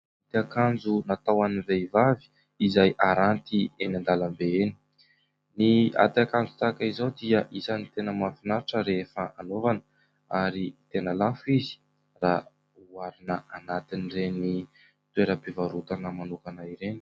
Ity akanjo natao an'ny vehivavy izay aranty eny an-dalambe eny. Ny aty akanjo tahaka izao dia isany tena mahafinaritra rehefa anaovana ary tena lafo izy raha oharina anatin'ireny toeram-pivarotana manokana ireny.